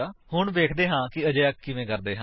ਹੁਣ ਵੇਖਦੇ ਹਾਂ ਕਿ ਅਜਿਹਾ ਕਿਵੇਂ ਕਰਦੇ ਹਨ